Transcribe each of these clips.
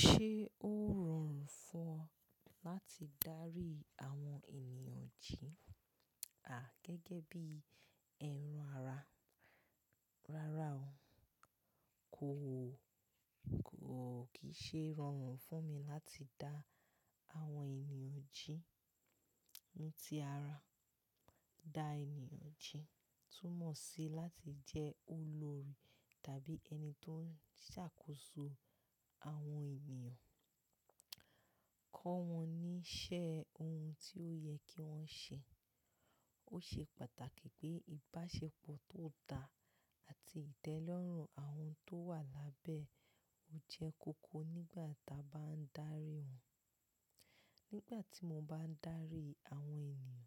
Ṣé ó rọrùn fún ọ láti darí àwọn ènìyàn jí? À, gẹ́gẹ́ bí ẹran ara, rárá o. Kò, kò kì í ṣe rọrùn fún mi láti dá àwọn ènìyàn jí. Ti ara, dá ènìyàn jí túmọ̀ sí láti jẹ́ olórí tàbí ẹni tó ń ṣàkóso àwọn ènìyàn, kọ́ wọn ní iṣẹ́ ohun tí ó yẹ kí wọ́n ṣe. Ó ṣe pàtàkì pé ìbáṣepọ̀ tó dá àti ìtẹ́lọ́rùn àwọn tó wà lábẹ́ o jẹ́ koko nígbà ta bá ń darí wọn. Nígbà tí mo bá ń darí àwọn ènìyàn,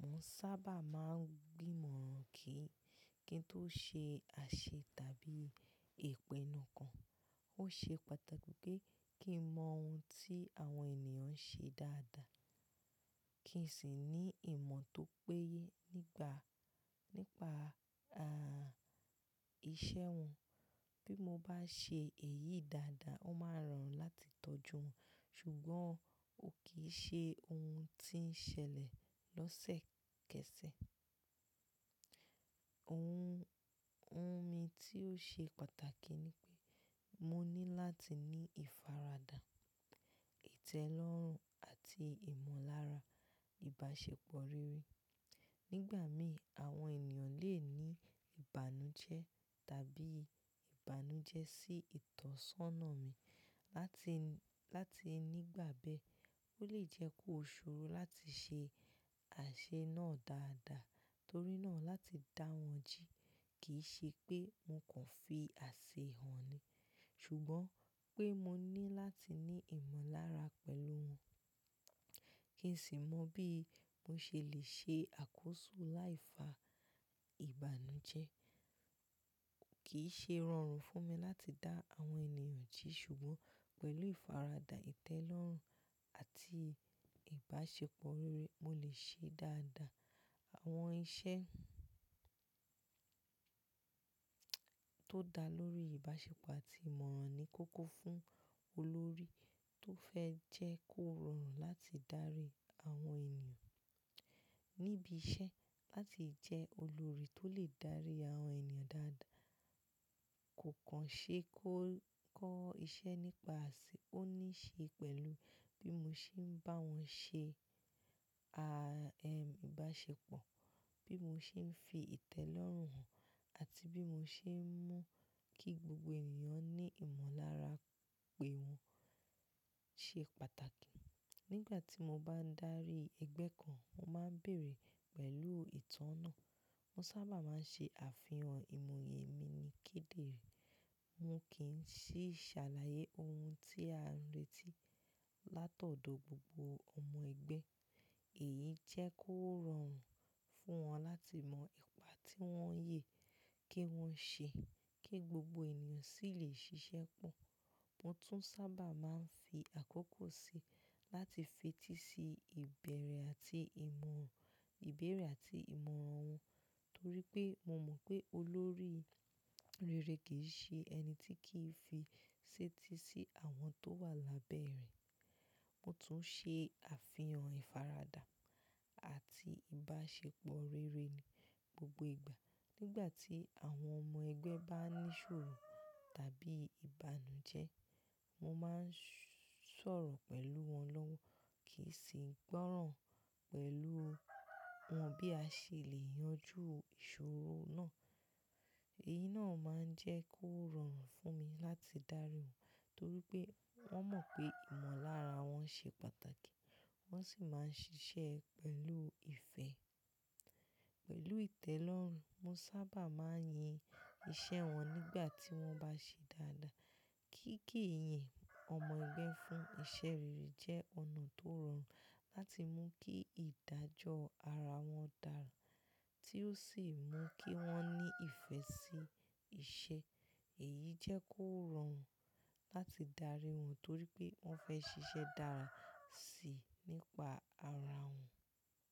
mò ń sábà máa ń gbìmọ̀ran kí, kí n tó ṣe àṣẹ tàbí ìpinnu kan. Ó ṣe pàtàkì pé kí n mọ ohun tí àwọn ènìyàn ń ṣe dáadáa, kí n sì ní ìmọ̀ tó péye nígba, nípa, a, iṣẹ́ wọn. Bí mo bá ṣe èyí dáadáa, ó máa rọrùn láti tọ́jú wọn. Ṣùgbọ́n ò kí í ṣe ohun tí ń ṣẹlẹ̀ lọ́sẹ̀kẹsẹ̀. Ohun, ohun mi tí ó ṣe pàtàkì ni pé mo ní láti ní ìfaradà, ìtẹ́lọ́rùn àti ìmọ̀lára ìbáṣepọ̀ rere. Nígbà mìí, àwọn ènìyàn lè ní ìbànújẹ́ tàbí ìbànújẹ́ sí ìtọ̀sọ́nà mi. Láti, láti nígbà bẹ́ẹ́, ó lè jẹ́ kó ṣoro láti ṣe àṣẹ náà dáadáa. Torí náà láti dá wọn jí kì í ṣe pé mo kàn fi àṣẹ hàn ni, ṣùgbọ́n pé mo ní láti ní ìmọ̀lára pẹ̀lú wọn kí n sì mọ bí mo ṣe lè ṣe àkóso láìfa ìbànújẹ́. Kì í ṣe rọrùn fún mi láti dá àwọn ènìyàn jí ṣùgbọ́n pẹ̀lú ìfaradà, ìtẹ́lọ́rùn àti ìbáṣepọ̀ rere, mo lè ṣe dáadáa. Àwọn iṣẹ́ tó dá lórí ìbáṣepọ̀ àti ìmọ̀ran ni kókó fún olórí tó fẹ́ jẹ́ kó rọrùn láti darí àwọn ènìyàn níbi iṣẹ́. Láti jẹ́ olórí tó lè dárí àwọn ènìyàn dáadáa, kò kàn ṣe kó kọ́ iṣẹ́ nípa ṣe, ó ní í ṣe pẹ̀lú bí mo ṣe ń bá wọn ṣe, a, ẹ, ìbáṣepọ̀, bí mo ṣe ń fi ìtẹ́lọ́rùn hàn àti bí mo ṣe ń mú kí gbogbo ènìyàn ní ìmọ̀lára pé wọn ṣe pàtàkì. Nígbà tí mo bá ń darí ẹgbẹ́ kan, mo máa ń béèrè pẹ̀lú ìtọ́nà. Mo sábà máa ń ṣe àfihàn ìmuyẹ mi ní kídéré Mo kì í ṣí sàlàyé ohun tí a ń retí látọ̀dọ̀ gbogbo ọmọ ẹgbẹ́. Èyí jẹ́ kó rọrùn fún wọn láti mọ ipa tí wọ́n yẹ kí wọ́n ṣe kí gbogbo ènìyàn sì lè ṣiṣẹ́ pọ̀. Mo tún sábà máa ń fi àkókò síi láti fetí sí ìbẹ̀rẹ̀ àti ìmọ̀, ìbéèrè àti ìmọ̀ran wọn torí pé mo mọ̀ pé olórí rere kì í ṣe ẹni tí kì í fi sétí sí àwọn tó wà lábẹ́ rẹ̀. Mo tún ṣe àfihàn ìfaradà àti ìbáṣepọ̀ rere ni gbogbo ìgbà. Nígbà tí àwọn ọmọ ẹgbẹ́ bá ní ṣòro tàbí ìbànújẹ́, mo máa ń sọ̀rọ̀ pẹ̀lú wọn lọ́wọ́ kì í sì ń gbọ́ràn pẹ̀lú wọn bí a ṣe lè yanjú ìṣòro náà. Èyí náà máa ń jẹ́ kó rọrùn fún mi láti darí wọn torí pé wọ́n mọ̀ pé ìmọ̀lára wọn ṣe pàtàkì, wọ́n sì máa ń ṣiṣẹ́ pẹ̀lú ìfẹ́, pẹ̀lú ìtẹ́lọ́rùn. Mo sábà máa ń yin iṣẹ́ wọn nígbà tí wọ́n bá ṣe dáadáa. Kíkí ìyìn ọmọ ẹgbẹ́ fún iṣẹ́ rere jẹ́ ọ̀nà tó rọrùn láti mú kí ìdájọ́ ara wọn dára tí ó sì mú kí wọ́n ní ìfẹ́ sí iṣẹ́. Èyí jẹ́ kó rọrùn láti darí wọn torí pé wọ́n fẹ́ ṣiṣẹ́ dára síi nípa ara wọn.